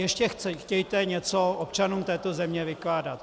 Ještě chtějte něco občanům této země vykládat.